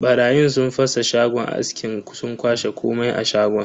Barayin sun fasa shagon askin sun kwashe komai a shagon.